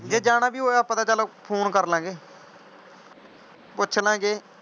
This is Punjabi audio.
ਜਾਣਾ ਵੀ ਹੋਇਆ ਆਪਾਂ ਚਲ phone ਕਰਲਾਂਗੇ ਪੁਚਲਾਂਗੇ।